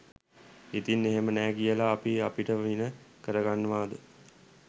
ඉතින් එහෙම නෑ කියලා අපි අපිට වින කරගන්නවද?